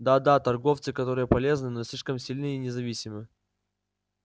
да да торговцы которые полезны но слишком сильны и независимы